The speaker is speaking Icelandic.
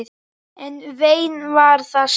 En vein var það samt.